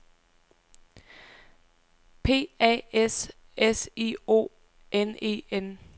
P A S S I O N E N